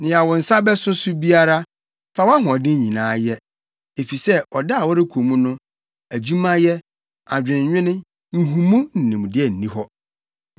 Nea wo nsa bɛso so biara, fa wʼahoɔden nyinaa yɛ, efisɛ ɔda a wɔrekɔ mu no, adwumayɛ, adwennwene, nhumu ne nimdeɛ nni hɔ.